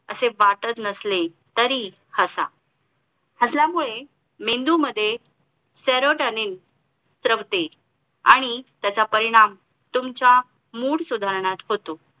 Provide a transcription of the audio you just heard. असे वाटत नसले तरी हसा हसल्या मुळे मेंदू मध्ये Serotanin श्रमते आणि त्याचा परिणाम तुमचा Mood सुधारण्यात होतो